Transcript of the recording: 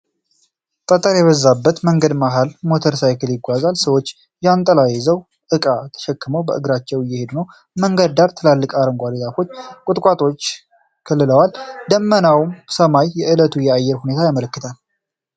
ጠጠር የበዛበት መንገድ መሃል ሞተር ሳይክል ይጓዛል። ሰዎች ጃንጥላ ይዘውና እቃ ተሸክመው በእግራቸው እየሄዱ ነው። የመንገዱን ዳርቻ ትላልቅ አረንጓዴ ዛፎችና ቁጥቋጦዎች ከልለዋል። ደመናማው ሰማይ የዕለቱን የአየር ሁኔታ ያመለክታል።